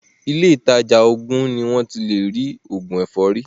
Ilé ìtajà òògùn ni wọ́n ti lé rí òògùn ẹ̀fọ́rí.